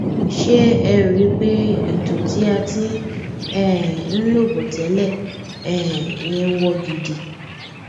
ṣé ẹ rí i pé ètò tí a ti um ń lọ bọ tẹlẹ um yẹn wọ gidi